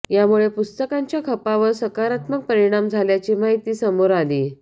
यामुळे पुस्तकांच्या खपावर सकारात्मक परिणाम झाल्याची माहिती समोर आली